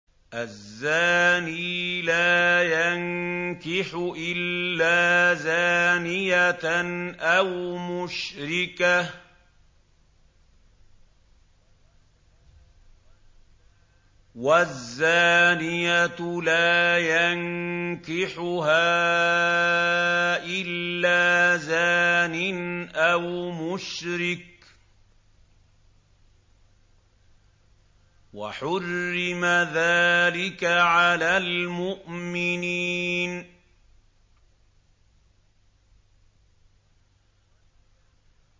الزَّانِي لَا يَنكِحُ إِلَّا زَانِيَةً أَوْ مُشْرِكَةً وَالزَّانِيَةُ لَا يَنكِحُهَا إِلَّا زَانٍ أَوْ مُشْرِكٌ ۚ وَحُرِّمَ ذَٰلِكَ عَلَى الْمُؤْمِنِينَ